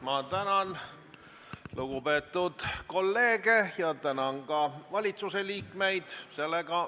Ma tänan lugupeetud kolleege ja tänan ka valitsuse liikmeid.